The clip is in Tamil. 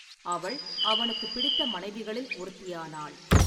அவள் அவனுக்குப் பிடித்த மனைவிகளில் ஒருத்தியானாள்.